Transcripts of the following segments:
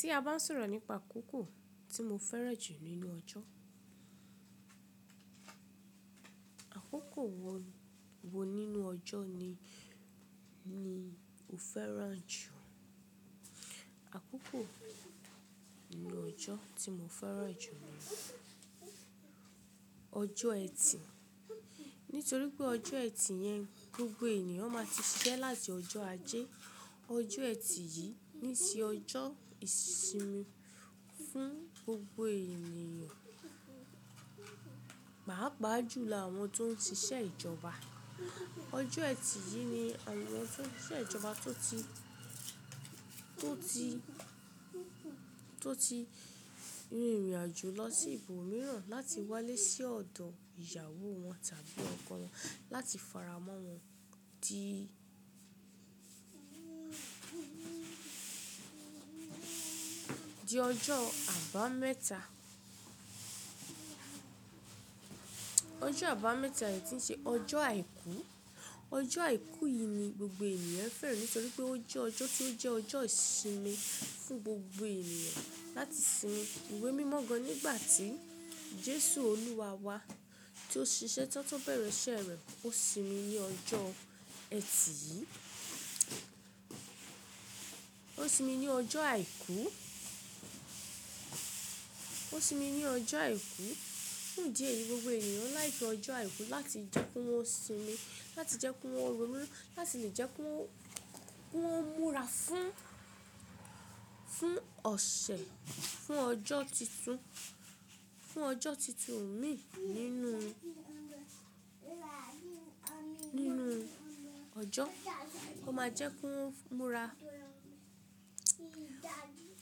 Tí a bá sọ̀rọ̀ nípa àkókò tí mo fẹ́ràn jù nínú ọjọ́, àkókò wo nínú ọjọ́ ni o fẹ́ràn jù? Àkókò nínú ọjọ́ tí mo fẹ́ràn jù ni ọjọ́ ẹtì. Nítorí pé ọjọ́ ẹtì yẹn gbogbo ènìyàn ma ti ṣiṣẹ́ láti ọjọ́ ajé. Ọjọ́ ẹtì yí ni ṣe ọjọ́ ìsinmi fún gbogbo ènìyàn. Pàápàá jùlọ àwọn tó ń ṣiṣẹ́ ìjọba. Ọjọ́ ẹtì yí ni àwọn tó ń ṣiṣẹ́ ìjọba tó ti, tó ti, tó ti rin ìrìn-àjò lọ sí ibò míràn láti wálé sí ọ̀dọ̀ ìyàwó wọn tàbí ọkọ wọn láti fara mọ́ wọn di, di ọjọ́ àbámẹ́ta. Ọjọ́ àbámẹ́ta yí ti ń ṣe ọjọ́ àìkú. Ọjọ́ àìkú yí ni gbogbo ènìyàn fẹ́ràn nítorí pé ó jẹ́ ọjọ́ tí ó jẹ́ ọjọ́ ìsinmi fún gbogbo èèyàn láti sinmi ìwé mímọ́ gan nígbàtí Jésù olúwa wa tí ó ṣiṣẹ́ tọ́tọ́ bẹ̀rẹ̀ iṣẹ́ rẹ̀ ó sinmi ní ọjọ́ ẹtì yí. Ó sinmi ní ọjọ́ àìkú, ó sinmi ní ọjọ́ àìkú. Fún ìdí èyí gbogbo ènìyàn like ọjọ́ àìkú láti jẹ́ kí wọn sinmi, láti jẹ́ kí wọn ronú, láti lè jẹ́ kí wọn múra fún, fún ọ̀sẹ̀, fún ọjọ́ títun, fún ọjọ́ títun mi nínú, nínú ọjọ́. Ó má jẹ́ kí wọn múra.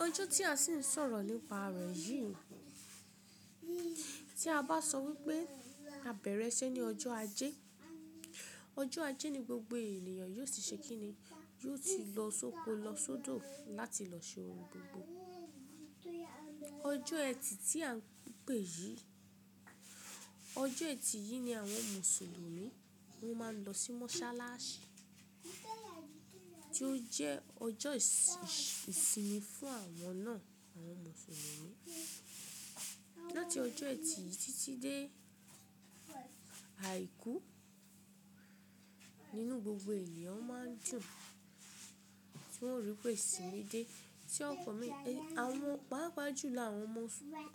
Ọjọ́ tí a sì ń sọ̀rọ̀ nípa rẹ̀ yí, tí a bá sọ wípé a bẹ̀rẹ̀ iṣẹ́ ní ọjọ́ ajé, ọjọ́ ajé ni gbogbo ènìyàn yóò sì ṣe kíni? Yóò ti lọ sóko, lọ sódò láti lọ ṣe ohun gbogbo. Ọjọ́ ẹtì tí a npè yí, ọjọ́ ẹtì yí ni àwọn Mùsùlùmí wọn máa ń lọ sí mọ́ṣáláṣí, tí ó jẹ́ ọjọ́ ìsinmi fún àwọn náà, àwọn Mùsùlùmí. Láti ọjọ́ ẹtì yìí títí dé àìkú, nínú gbogbo ènìyàn máa ń dùn, tí wọn ó rí pé ìsinmi dé. Tí wọn kọ mí, àwọn pàápàá jù ni àwọn ọmọ,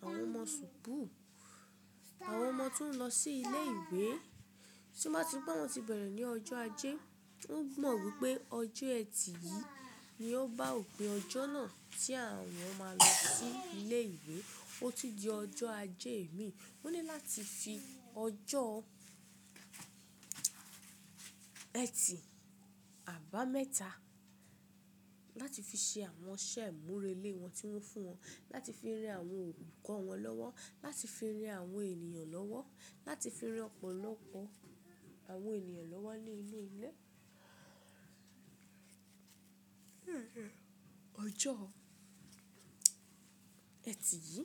àwọn ọmọ subuu, àwọn ọmọ tí wọn lọ sí ilé-ìwé, tí wọn bá ti rí pé àwọn ti bẹ̀rẹ̀ ní ọjọ́ ajé, wọn mọ̀ wípé ọjọ́ ẹtì yí ni ó bá òpin ọjọ́ náà tí àwọn má lọ sí ilé-ìwé. Ó ti di ọjọ́ ajé mi. Wọ́n ní láti fi ọjọ́ ẹtì àbámẹ́ta láti fi ṣe àwọn iṣẹ́ ìmúrelé wọn tí wọn fún wọn. Láti fi ran àwọn olùkọ́ wọn lọ́wọ́, láti fi ran àwọn ènìyàn lọ́wọ́, láti fi ran ọ̀pọ̀lọpọ̀ àwọn ènìyàn lọ́wọ́ ní inú ilé-ilé. Ọjọ́ ẹtì yí.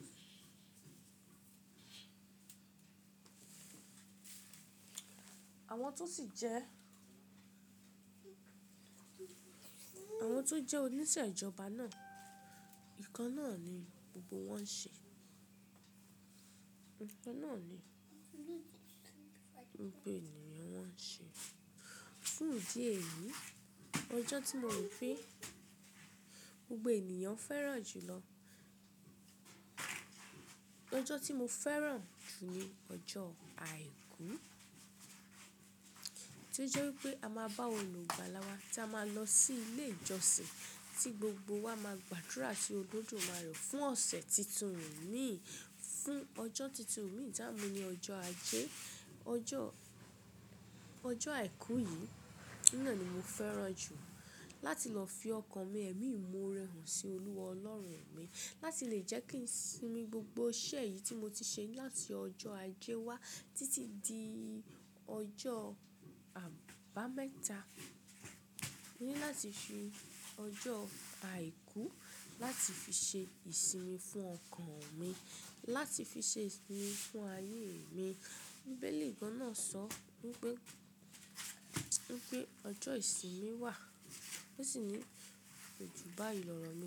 Àwọn tó sì jẹ́, àwọn tó jẹ́ oníṣẹ́ ìjọba náà, ǹkan náà ni gbogbo wọn ṣe. Ǹkan náà ni gbogbo ènìyàn wọn ṣe. Fún ìdí èyí yí, ọjọ́ tí mo ní, gbogbo ènìyàn fẹ́ràn jùlọ, ọjọ́ tí mo fẹ́ràn jù ni ọjọ́ àìkú. Tí ó jẹ́ wípẹ́ a máa bá olùgbàlà wa tí a máa lọ sí ilé ìjọsìn tí gbogbo wa máa gbàdúrà sí Olódùmarè fún ọ̀sẹ̀ títun mi, fún ọjọ́ títun mi. Táa mú ní ọjọ́ ajé. Ọjọ́, ọjọ́ àìkú yí, ina ni mo fẹ́ràn jù. Láti lọ fi ọkàn mi ẹ̀mí ìmoore hàn sí Olúwa Ọlọ́run mi. Láti lè jẹ́ kí sinmi gbogbo iṣẹ́ yí tí mo ti ṣe láti ọjọ́ ajé wá títí di ọjọ́ àbámẹ́ta. Mo ní láti fi ọjọ́ àìkú láti fi ṣe ìsinmi fún ọkàn mi, láti fi ṣe ìsinmi fún ayé mi. Bíbélì gan ná sọ wípé, wípé ọjọ́ ìsinmi wà. Ó sì ní kojú báyì lọ ọ̀rọ̀ ná.